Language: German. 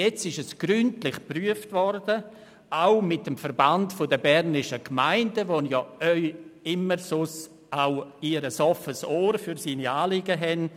Jetzt ist es gründlich geprüft worden, auch mit dem VBG, für dessen Anliegen Sie sonst auch ein offenes Ohr haben.